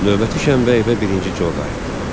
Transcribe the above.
Növbəti şənbə evə birinci Co qayıtdı.